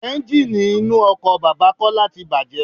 Ẹ́ńjíìnì inú ọkọ̀ bàbà Kọ́lá tí bàjé.